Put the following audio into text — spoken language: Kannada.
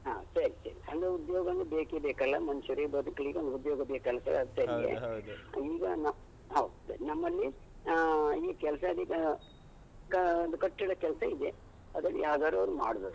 ಹ ಸರಿ ಸರಿ ಅಂದ್ರೆ ಉದ್ಯೋಗ ಒಂದು ಬೇಕೇ ಬೇಕಲ್ಲ ಮನುಷ್ಯರಿಗೆ ಬದುಕ್ಲಿಕ್ ಒಂದು ಉದ್ಯೋಗ ಬೇಕಲ್ಲ sir ಅದಕ್ಕಾಗಿ ಈಗ ನಮ್ ಹೌದು ನಮ್ಮಲ್ಲಿ ಆ, ಈ ಕೆಲ್ಸ ಇ ಕಾ, ಒಂದು ಕಟ್ಟಡ ಕೆಲ್ಸ ಇದೆ ಅದ್ರಲ್ಲಿ ಯಾವ್ದಾದ್ರೊಂದು ಮಾಡ್ಬೋದು.